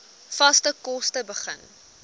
vaste kos begin